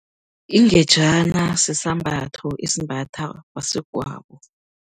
Ingejana, sisambatho esimbathwa baswegwabo.